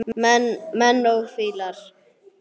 Menn og fílar